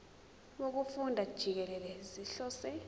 wokufunda jikelele sihlose